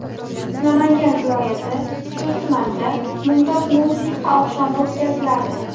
Namangan viloyati Chust tumanida mumtoz musiqa oqshomi o‘tkaziladi.